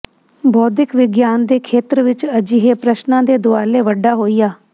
ਬੌਧਿਕ ਵਿਗਿਆਨ ਦੇ ਖੇਤਰ ਵਿੱਚ ਅਜਿਹੇ ਪ੍ਰਸ਼ਨਾਂ ਦੇ ਦੁਆਲੇ ਵੱਡਾ ਹੋਇਆ